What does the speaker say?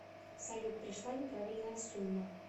салют пришла неправильная сумма